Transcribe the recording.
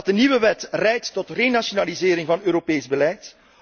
Omdat de nieuwe wet leidt tot hernationalisering van Europees beleid.